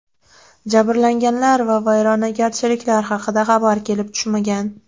Jabrlanganlar va vayrongarchiliklar haqida xabar kelib tushmagan.